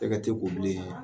E ka t'i ko bilen